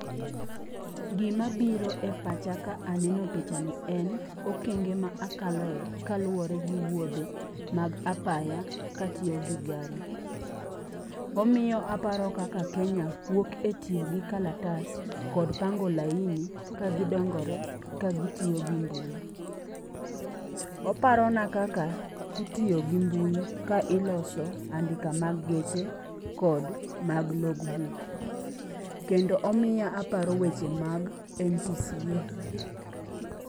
Gima biro e pacha ka aneno picha ni en okenge ma akaloe kaluwore gi wuodhe mag apaya ka atiyo gi gari. Omiyo aparo kaka Kenya wuok e tiyo gi kalatas kod pango laini ka gidongore ka gitiyo gi mbui. Oparona kaka itiyo gi mbui ka iloso andika mag geche kod mag logbook. Kendo omiya aparo weche mag NTSA.